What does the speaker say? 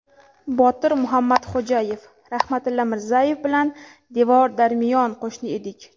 Botir Muhammadxo‘jayev: Rahmatilla Mirzayev bilan devor-darmiyon qo‘shni edik.